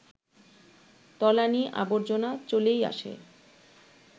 তলানি-আবর্জনা চলেই আসে